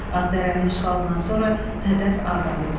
Ağdərənin işğalından sonra hədəf Ağdam idi.